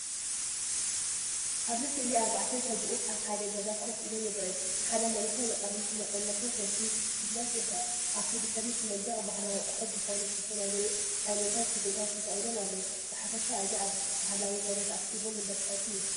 ኣብዚ ስእሊ ኣርባዕተ ሰብኡት ኣብ ሓደ ገዛ ኮፍ ኢሎም ይረኣዩ። ሓደ መንእሰይ ንቕድሚት እናጠመተ ሴልፊ ክሰኣል ይርአ። ኣብቲ ድሕሪት መንደቕ፡ ባህላዊ ኣቑሑት ዝኮኑ ዝተፈላለዮ ዓይነታት ስፈታት ተሰቒሎም ኣለዉ። ብሓፈሻ እዚ ኣብ ባህላዊ ገዛ ተኣኪቦም እንዳተፃወቱ ይመስል።